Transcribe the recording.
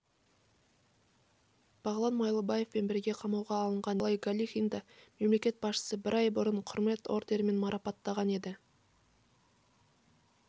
бағлан майлыбаевпен бірге қамауға алынған николай галихинді мемлекет басшысы бір ай бұрын құрмет орденімен марапаттаған еді